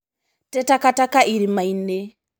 Te takataka irima-inĩ.